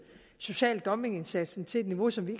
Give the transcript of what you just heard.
social dumping indsatsen til et niveau som vi